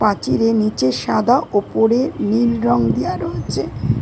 পাচিরের নিচে সাদা ওপরে নীল রং দেওয়া রয়েছে।